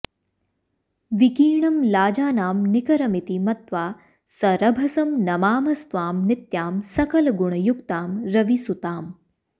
विकीर्णं लाजानां निकरमिति मत्वा सरभसं नमामस्त्वां नित्यां सकलगुणयुक्तां रविसुताम्